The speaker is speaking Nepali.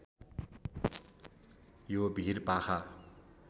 यो भिर पाखा